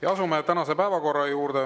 Ja asume tänase päevakorra juurde.